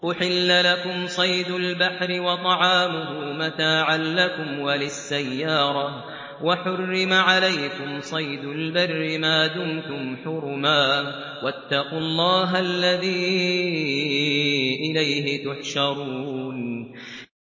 أُحِلَّ لَكُمْ صَيْدُ الْبَحْرِ وَطَعَامُهُ مَتَاعًا لَّكُمْ وَلِلسَّيَّارَةِ ۖ وَحُرِّمَ عَلَيْكُمْ صَيْدُ الْبَرِّ مَا دُمْتُمْ حُرُمًا ۗ وَاتَّقُوا اللَّهَ الَّذِي إِلَيْهِ تُحْشَرُونَ